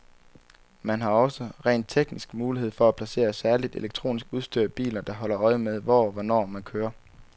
Man har også, rent teknisk, mulighed for at placere særligt elektronisk udstyr i biler, der holder øje med, hvor og hvornår man kører.